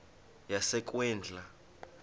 yasekwindla